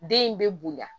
Den in bɛ bonya